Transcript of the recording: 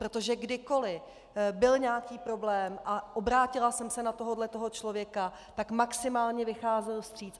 Protože kdykoli byl nějaký problém a obrátila jsem se na tohohle člověka, tak maximálně vycházel vstříc.